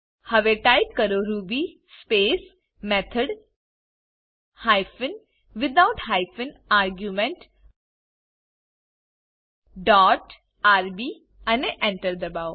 હવે ટાઈપ કરો ruby space method hyphen without hyphen argument dot rb અને Enter દબાઓ